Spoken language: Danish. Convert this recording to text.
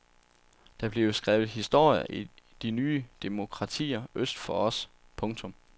Der bliver skrevet historie i de nye demokratier øst for os. punktum